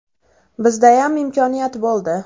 Bizdayam imkoniyat bo‘ldi.